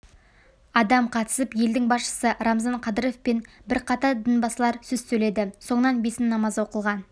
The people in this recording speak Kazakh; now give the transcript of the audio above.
адам қатысып елдің басшысы рамзан қадыров пен бірқатар дінбасылар сөз сөйледі соңынан бесін намазы оқылған